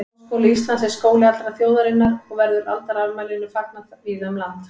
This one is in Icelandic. Háskóli Íslands er skóli allrar þjóðarinnar og verður aldarafmælinu fagnað víða um land.